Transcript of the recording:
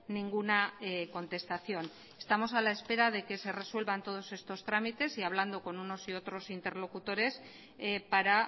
ninguna contestación estamos a la espera de que ser resuelvan todos estos trámites y hablando con unos y otros interlocutores para